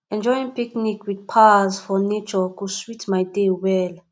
enjoying picnic with pals for nature go sweet my day well